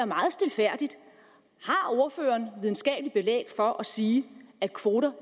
meget stilfærdigt har ordføreren videnskabeligt belæg for at sige at kvoter